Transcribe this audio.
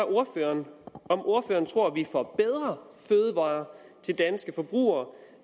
ordføreren om ordføreren tror vi får bedre fødevarer til danske forbrugere